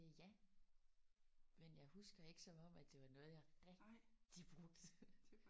Øh ja. Men jeg husker ikke som om at det var noget jeg rigtigt brugte